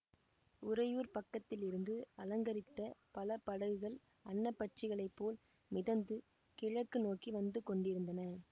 உறையூர்ப் பக்கத்திலிருந்து அலங்கரித்த பல படகுகள் அன்னப் பட்சிகளைப் போல் மிதந்து கிழக்கு நோக்கி வந்து கொண்டிருந்தன